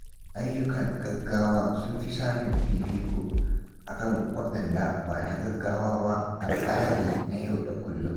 Ayyukan gaugawa sun fi samun fifiko a kan waɗanda ba na gaggawa ba a tsarina na yau da kullum.